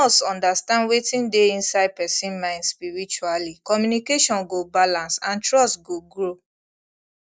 if nurse understand wetin dey inside person mind spiritually communication go balance and trust go grow